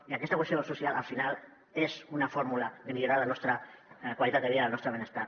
i aquesta cohesió social al final és una fórmula de millorar la nostra qualitat de vida i el nostre benestar